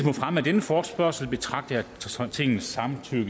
fremme af denne forespørgsel betragter jeg tingets samtykke